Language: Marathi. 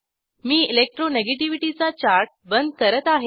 मी electro नेगेटिव्हिटी चा चार्ट बंद करत आहे